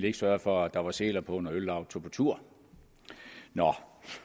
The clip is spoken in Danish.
ikke sørgede for at der var seler på når øllauget tog på tur